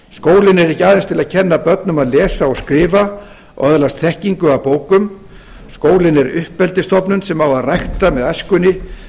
skólinn er ekki aðeins til að kenna börnum að lesa og skrifa og öðlast þekkingu af bókum skólinn er uppeldisstofnun sem á að rækta með æskunni